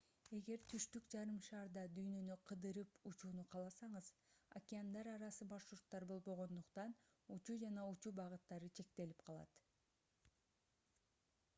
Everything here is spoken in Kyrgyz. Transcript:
эгер түштүк жарым шарда дүйнөнү кыдырып учууну кааласаңыз океандар арасы маршруттар болбогондуктан учуу жана учуу багыттары чектелип калат